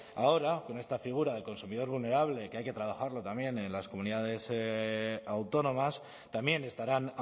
ahora con esta figura del consumidor vulnerable que hay que trabajarlo también en las comunidades autónomas también estarán